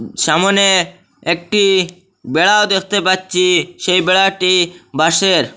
সামোনে একটি বেড়া দেখতে পাচ্ছি সেই বেড়াটি বাঁশের।